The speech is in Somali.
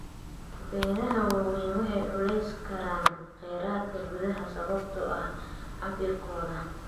Beeraha waaweyni waxay culeysi karaan kheyraadka gudaha sababtoo ah cabbirkooda.